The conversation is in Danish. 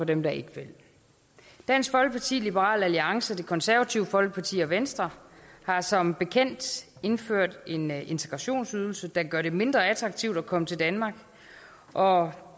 dem der ikke vil dansk folkeparti liberal alliance det konservative folkeparti og venstre har som bekendt indført en integrationsydelse der gør det mindre attraktivt at komme til danmark og